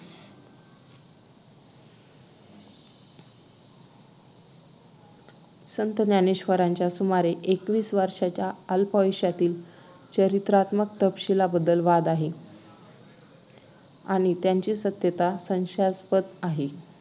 संत ज्ञानेश्वरांच्या सुमारे एकवीस वर्षांच्या अल्पायुष्यातील चरित्रात्मक तपशिलांबद्दल वाद आहे आणि त्यांची सत्यता संशयास्पद आहे